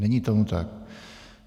Není tomu tak.